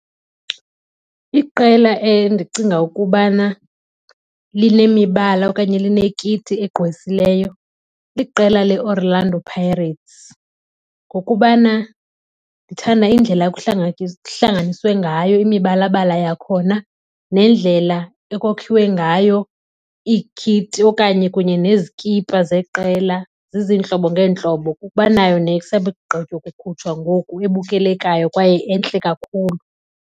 Iqela endicinga ukubana linemibala okanye linekiti egqwesileyo liqela leOrlando Pirates ngokubana ndithanda indlela kuhlanganiswe ngayo imibalabala yakhona nendlela ekokhiwe ngayo iikhiti okanye kunye nezikipa zeqela zizintlobo ngeentlobo. Banayo nesakugqitywa ukukhutshwa ngoku ebukelekayo kwaye entle kakhulu.